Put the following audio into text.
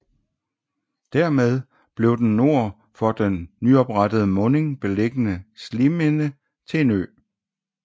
Dermed blev den nord for den nyoprettede munding beliggende Sliminde til en ø